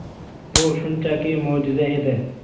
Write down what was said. Bu shunchaki mo‘jiza edi.